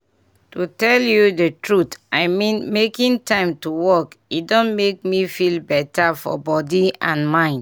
to tell you the truth i mean making time to walk e don make me feel better for body and mind.